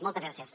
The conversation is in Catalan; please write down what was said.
moltes gràcies